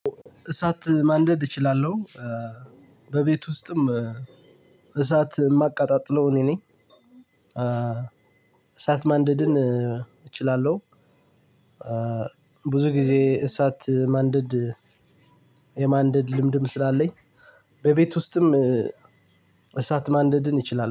እሳት ማንደድ እችላለሁ በቤት ውስጥም እሳት እማቀጣጥለው እኔ ነኝ። እሳት ማንደድን እችላለሁ። ብዙ ጊዜ እሳት ማንደድ የማንደድ ልምድም ስላለኝ በቤት ውስጥም እሳት ማንደድን ይችላል